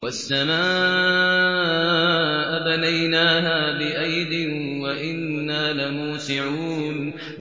وَالسَّمَاءَ بَنَيْنَاهَا بِأَيْدٍ وَإِنَّا لَمُوسِعُونَ